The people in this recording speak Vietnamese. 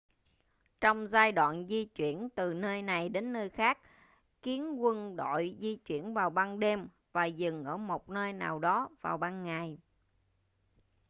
trong giai đoạn di chuyển từ nơi này đến nơi khác kiến quân đội di chuyển vào ban đêm và dừng ở một nơi nào đó vào ban ngày